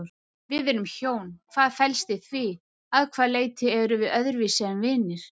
Við erum hjón, hvað felst í því, að hvaða leyti erum við öðruvísi en vinir?